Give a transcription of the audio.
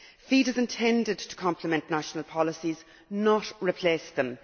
FEAD is intended to complement national policies, not replace them.